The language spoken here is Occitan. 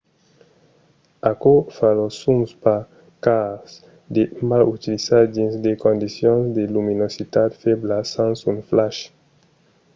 aquò fa los zooms pas cars de mal utilizar dins de condicions de luminositat febla sens un flash